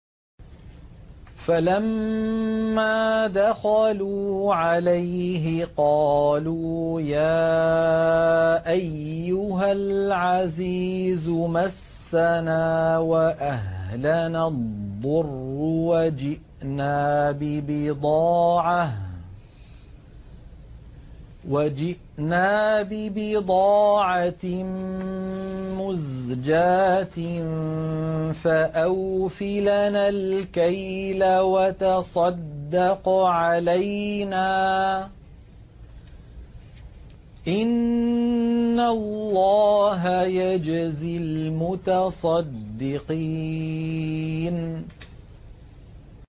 فَلَمَّا دَخَلُوا عَلَيْهِ قَالُوا يَا أَيُّهَا الْعَزِيزُ مَسَّنَا وَأَهْلَنَا الضُّرُّ وَجِئْنَا بِبِضَاعَةٍ مُّزْجَاةٍ فَأَوْفِ لَنَا الْكَيْلَ وَتَصَدَّقْ عَلَيْنَا ۖ إِنَّ اللَّهَ يَجْزِي الْمُتَصَدِّقِينَ